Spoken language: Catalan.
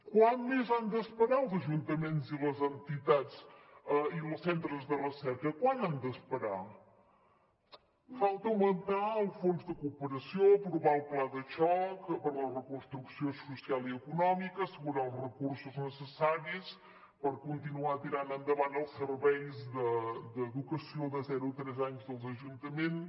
quant més han d’esperar els ajuntaments i els centres de recerca quant han d’esperar falta augmentar el fons de cooperació aprovar el pla de xoc per a la reconstrucció social i econòmica assegurar els recursos necessaris per continuar tirant endavant els serveis d’educació de zero a tres anys dels ajuntaments